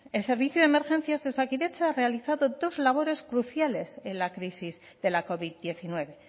el servicio de emergencias de osakidetza ha realizado dos labores cruciales en la crisis de la covid diecinueve